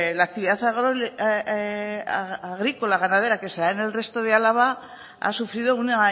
la actividad agrícola y ganadera que se da en el resto de álava ha sufrido una